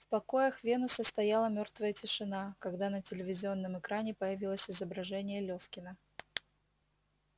в покоях венуса стояла мёртвая тишина когда на телевизионном экране появилось изображение лефкина